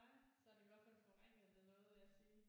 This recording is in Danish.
Nej så har de i hvert fald forvrænget det noget vil jeg sige